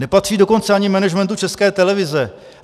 Nepatří dokonce ani managementu České televize.